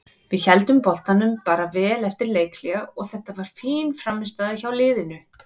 Við héldum boltanum bara vel eftir leikhlé og þetta var fín frammistaða hjá liðinu.